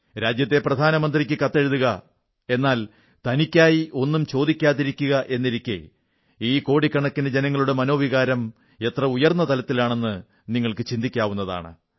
രാജ്യത്തെ പ്രധാനമന്ത്രിക്ക് കത്തെഴുതുക എന്നാൽ തനിക്കായി ഒന്നും ചോദിക്കാതിരിക്കുക എന്നിരിക്കെ ഈ കോടിക്കണക്കിനു ജനങ്ങളുടെ മനോവികാരം എത്ര ഉയർന്ന തലത്തിലാണെന്നു നിങ്ങൾക്കു ചിന്തിക്കാവുന്നതാണ്